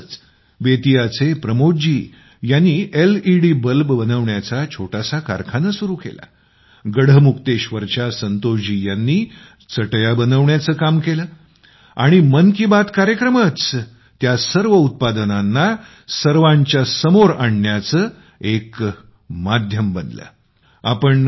जेव्हा बेतिया चे प्रमोद जी यांनी एलईडी बल्ब बनवण्याचं छोटासा कारखाना सुरू केला तेव्हा गढमुक्तेश्वर च्या संतोष जी यांनी चटया बनवण्याचं काम केलं आणि मन की बात कार्यक्रमच त्या सर्व उत्पादनांना सर्वाच्या समोर आणण्याचं एक साधन बनलां होता